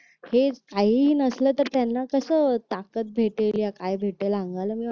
हे काहीही नाही भेटलं तर मग त्यांना कस ताकद भेटल या काय भेटेल